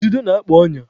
Ududo na-akpa ọnya.